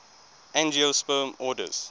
angiosperm orders